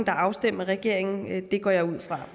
er afstemt med regeringen det går jeg ud fra